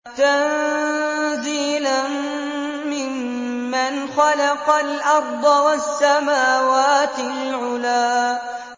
تَنزِيلًا مِّمَّنْ خَلَقَ الْأَرْضَ وَالسَّمَاوَاتِ الْعُلَى